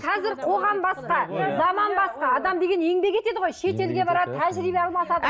қазір қоғам басқа заман басқа адам деген еңбек етеді ғой шетелге барады тәжірибе алмасады